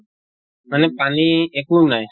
মানে পানী একো নাই?